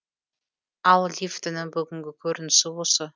ал лифтінің бүгінгі көрінісі осы